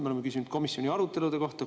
Me oleme küsinud komisjoni arutelude kohta.